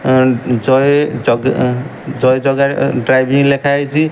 And ଜୟ ଜଗା ଜୟ ଜଗା ଅ ଡ୍ରାଇଭିଂ ଲେଖାଇଚି।